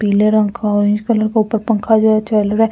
Pink colour का और orange का पंखा ऊपर चालू हैं ।